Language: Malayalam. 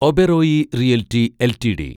Oberoi realty LTD